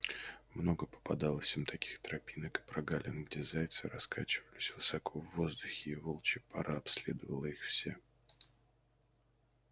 много попадалось им таких тропинок и прогалин где зайцы раскачивались высоко в воздухе и волчья пара обследовала их все